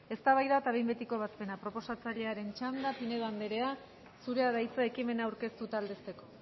eztabaida eta behin betiko ebazpena proposatzailearen txanda pinedo andrea zurea da hitza ekimena aurkeztu eta aldezteko